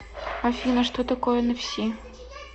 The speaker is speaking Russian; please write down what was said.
афина что такое энэфси